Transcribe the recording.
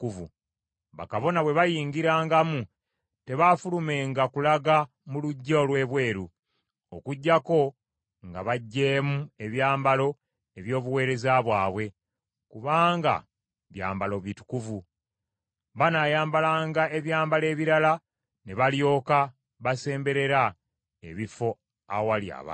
Bakabona bwe bayingirangamu, tebaafulumenga kulaga mu luggya olw’ebweru, okuggyako nga baggyemu ebyambalo eby’obuweereza bwabwe, kubanga byambalo bitukuvu. Banaayambalanga ebyambalo ebirala, ne balyoka basemberera ebifo awali abantu.”